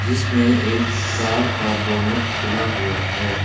जिसमें एक कार का बोनेट खुला हुआ है।